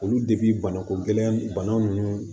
Olu banako gɛlɛya bana nunnu